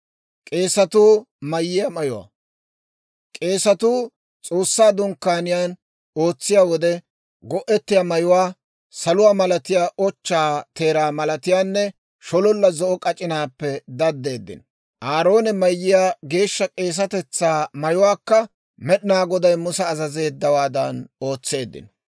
K'eesetuu S'oossaa Dunkkaaniyaan ootsiyaa wode go"etiyaa mayuwaa, saluwaa malatiyaa, ochchaa teeraa malatiyaanne shololla zo'o k'ac'inaappe daddeeddino. Aaroone mayiyaa geeshsha k'eesatetsaa mayuwaakka Med'inaa Goday Musa azazeeddawaadan ootseeddino.